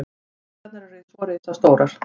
Byggingarnar eru svo risastórar.